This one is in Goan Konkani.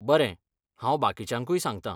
बरें, हांव बाकिच्यांकूय सांगतां.